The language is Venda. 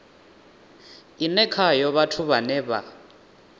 ine khayo vhathu vhane vha